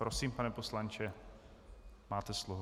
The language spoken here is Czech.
Prosím, pane poslanče, máte slovo.